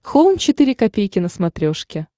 хоум четыре ка на смотрешке